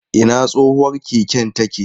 Ina tsohuwar keken take?